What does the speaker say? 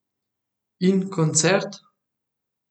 In koncert?